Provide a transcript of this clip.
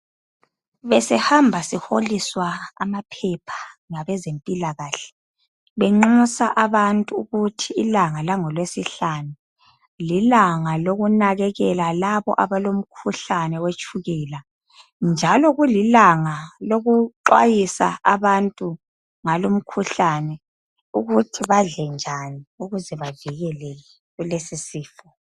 Besihamba sihoaliswa amaphepha ngabezempilakahle benxusa abantu ukuthi ilanga langolwesihlanu lilanga lokunakelela laba abalomkhuhlane wetshukela njalo kulilanga lokuxwayisa abantu ngalo mkhuhlane ukuthi badle njani ukuthi bavikeleke kuleso sifo